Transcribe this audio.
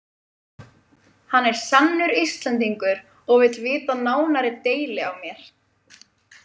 Hann er sannur Íslendingur og vill vita nánari deili á mér.